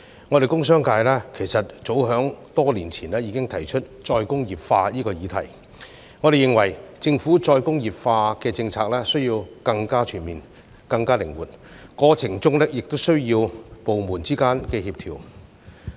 我們工商界早在多年前已經提出再工業化的議題，並且認為政府需要制訂更全面、更靈活的再工業化政策，過程中亦需要部門之間的協調。